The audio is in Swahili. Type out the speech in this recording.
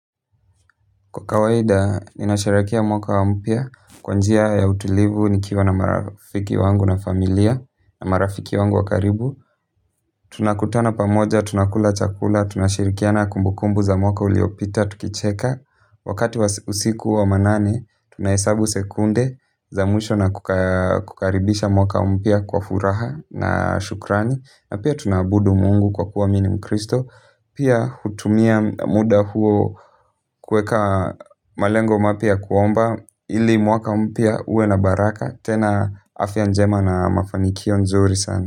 Kwa kawaida, ninasherehekea mwaka mpya kwa njia ya utulivu nikiwa na marafiki wangu na familia, na marafiki wangu wa karibu. Tunakutana pamoja, tunakula chakula, tunashirikiana kumbukumbu za mwaka uliyopita tukicheka. Wakati usiku wa manane, tunahesabu sekunde za mwisho na kukaribisha mwaka wa mpya kwa furaha na shukrani. Na pia tunaabudu Mungu kwa kuwa mimi ni mkristo. Pia hutumia muda huo kuweka malengo mapya kuomba ili mwaka mpya uwe na baraka tena afya njema na mafanikio nzuri sana.